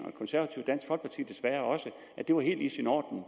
og desværre også at det var helt i sin orden